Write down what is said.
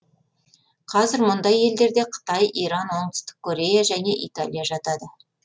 қазір мұндай елдерге қытай иран оңтүстік корея және италия жатады